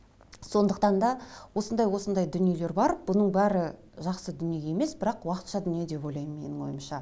сондықтан да осындай осындай дүниелер бар бұның бәрі жақсы дүние емес бірақ уақытша дүние деп ойлаймын менің ойымша